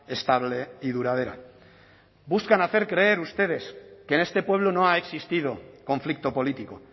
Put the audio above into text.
estable y duradera buscan hacer creer ustedes que en este pueblo no ha existido conflicto político